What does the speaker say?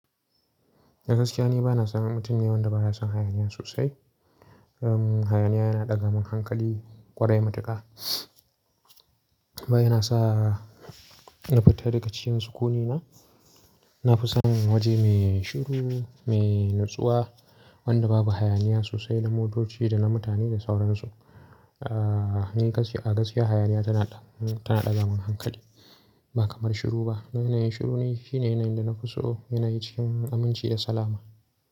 Dagaskiya ni ba na san mutum da baya son hayaniya sosai. Hayaniya yana ɗaga min hankali ƙwarai matuƙa. Ba yana sa, in fita daga cikin sukuni na. Na fi son waje mai shiru, mai natsuwa, wanda babu hayaniya sosai na motoci, da na mutane da sauran su. A gaskiya hayaniya tana ɗaga min hankali, ba kaman shiru ba. Yanayin shiru, shine yanayin da na fi so, yanayi cikin aminci da salama.